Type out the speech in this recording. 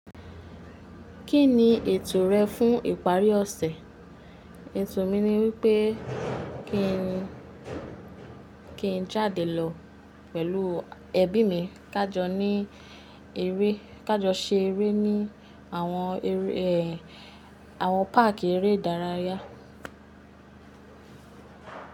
Kí ni ètò rẹ fún ìparí ọ̀sẹ̀? Ètò mi ni wípé kí n, kí n jáde lọ pẹ̀lú ẹbí mi, ká jọ ní eré, ká jọ ṣe eré ní àwọn eré, ẹ, àwọn park eré ìdárayá.